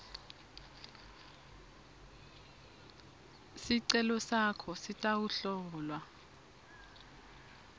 sicelo sakho sitawuhlolwa